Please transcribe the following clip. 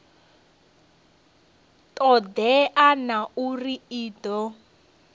todea na uri i do